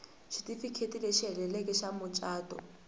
xitifiketi lexi heleleke xa mucato